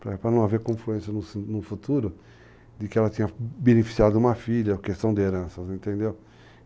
Para não haver confluência no futuro de que ela tinha beneficiado uma filha, questão de heranças, entendeu?